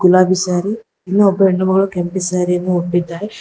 ಗುಲಾಬಿ ಸ್ಯಾರಿ ಇನ್ನೊಬ್ಬ ಹೆಣ್ಣು ಮಗಳು ಕೆಂಪು ಸ್ಯಾರಿ ಯನ್ನು ಉಟ್ಟಿದ್ದಾರೆ.